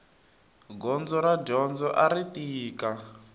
gondzo ra dyondzo ari tika